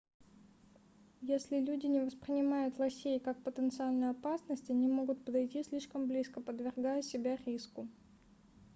если люди не воспринимают лосей как потенциальную опасность они могут подойти слишком близко подвергая себя риску